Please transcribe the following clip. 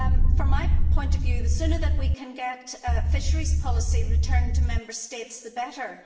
From my point of view, the sooner we can get fisheries policy returned to Member States, the better.